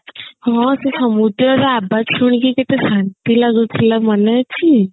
ହଁ ସେ ସମୁଦ୍ର ର ଶୁଣିକି କେତେ ଶାନ୍ତି ଲାଗୁଥିଲା ମନେ ଅଛି